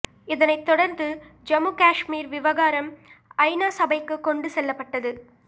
இதனைத் தொடர்ந்து ஜம்மு காஷ்மீர் விவகாரம் ஐநா சபைக்கு கொண்டு செல்லப்பட்டது